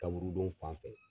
Kaburudon fan fɛ.